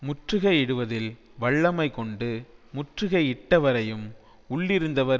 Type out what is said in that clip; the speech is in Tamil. முற்றுகையிடுவதில் வல்லமை கொண்டு முற்றுகை இட்டவரையும் உள்ளிருந்தவர்